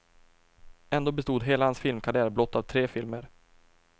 Ändå bestod hela hans filmkarriär blott av tre filmer.